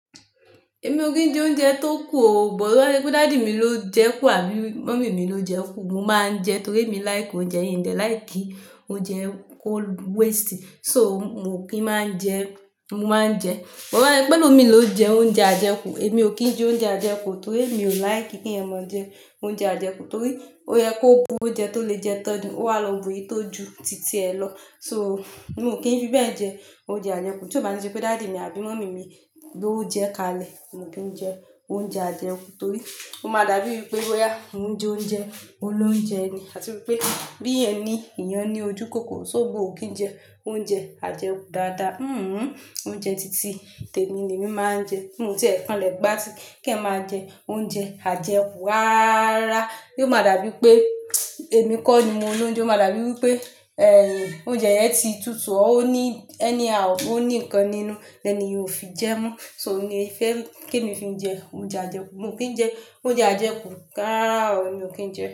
Èmi ò kí ń jẹ oúnjẹ tó kù o. Bọ̀dá ní pé daddy mi ló jẹ kú àbí mummy mi ló jẹ kú. Mo máa ń jẹ torí èmi like oúnjẹ hin dẹ̀ like ki oúnjẹ ko waste. So mo kì í máa ń jẹ, mo máa ń jẹ. Boba se pe ẹlòmii ló jẹ oúnjẹ àjẹkù. Èmi ò kí ń jẹ oúnjẹ àjẹkù torí mi ò like kí ẹmọ jẹ oúnjẹ àjẹkù torí ó yẹ kó bu oúnjẹ tó lè jẹ tán ní. Ó wa lọ bu èyí tó ju títí ẹ lọ. So mo kì í fi bẹ́ẹ̀ jẹ oúnjẹ àjẹkù. Tí ó bá ní pé daddy mi àbí mummy mi ló jẹ kalẹ̀, mo kì ń jẹ oúnjẹ àjẹkù torí ó máa dàbí ère pé woyà ń jí oúnjẹ, olóunjẹ ni àti wípé bí ẹni èèyàn ní ojúkòkòrò. So mo kì ń jẹ oúnjẹ àjẹkù dáadáa. Hmm oúnjẹ títí tèmi ni èmi máa ń jẹ. Òun tí ẹ̀kan lẹ gbà tí kìẹ́ máa jẹ oúnjẹ àjẹkù rárá. Ó máa dàbí pé èmi kọ́ ni mo ń l'óunjẹ. Ó máa dàbí wípé, ẹ́ nìyẹn oúnjẹ yẹn ti tutù, ó ní ẹni a òun ní nǹkan nínú, lẹ́ni ò fi jẹ mọ́. So mo ní i fẹ́ kíni mí fi jẹ oúnjẹ àjẹkù. Mo kì ń jẹ oúnjẹ àjẹkù k'árà o ni mo kì ń jẹ.